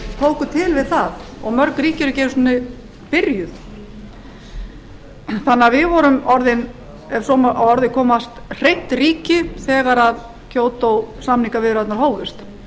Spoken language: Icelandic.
tóku til við það og mörg ríki eru ekki einu sinni byrjuð þannig að við vorum ef þannig má að orði komast orðin hreint ríki áður en kyoto samningaviðræðurnar hófust